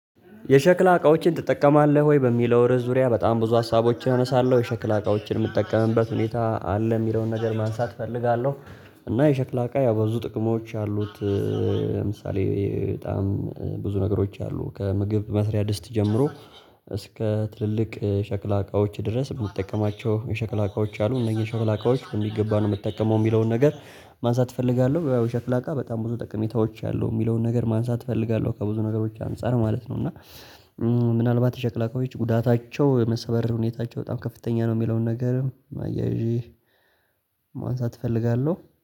የሸክላ እቃዎችን ትጠቀማለህ ወይ? በሚለው ርዕስ ዙሪያ በጣም ብዙ ሀሳቦችን አነሳለሁ የሸክላ እቃዎችን የምጠቀምበት ሁኔታ አለ የሚለውን ነገር ማንሳት እፈልጋለሁ። እና የሸክላ እቃ ያው ብዙ ጥቅሞች አሉት። ለምሳሌ በጣም ብዙ ነገሮች አሉ ከምግብ መስሪያ ድስት ጀምሮ እስከ ትልልቅ ሸክላ እቃዎች ድረስ እምጠቀማቸው የሸክላ እቃዎች አሉ። እነዚህ የሸክላ እቃዎች በሚገባ ነው የምጠቀመው የሚለውን ነገር ማንሳት እፈልጋለሁ። የ ሸክላ አቃ በጣም ብዙ ጥቀሜታዎች አሉ የሚለውን ነገር ማንሳት እፈልጋለሁ ከብዙ ነገሮች አንፃር ማለት ነው። እና ምናልባት የቸክላ እቃዎች ጉዳታቸው የመሰበር ሁኔታቸው በጣም ከፍተኛ ነው የሚለውን ነገር አያይዤ ማንሳት እፈልጋለሁ